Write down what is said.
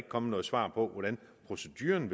kommet noget svar på hvordan proceduren